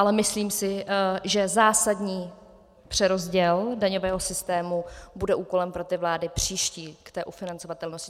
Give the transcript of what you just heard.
Ale myslím si, že zásadní přerozděl daňového systému bude úkolem pro ty vlády příští k té ufinancovatelnosti.